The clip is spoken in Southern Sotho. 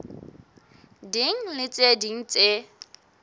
ding le tse ding tse